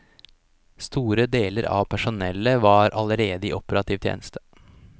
Store deler av personellet var allerede i operativ tjeneste.